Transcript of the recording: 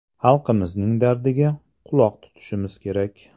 Xalqimizning dardiga quloq tutishimiz kerak.